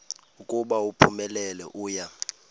ukuba uphumelele uya